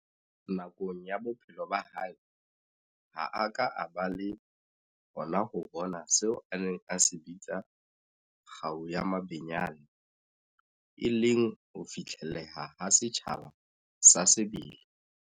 Nakong ya bophelo ba hae, ha a ka a ba le hona ho bona seo a neng a se bitsa kgau ya mabenyane, e leng ho fihlelleha ha setjhaba sa sebele.